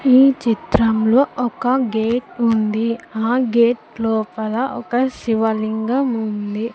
ఈ చిత్రంలో ఒక గేట్ ఉంది ఆ గేట్ లోపల ఒక శివలింగం ఉంది.